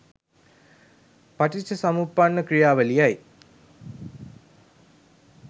පටිච්චසමුප්පන්න ක්‍රියාවලියයි.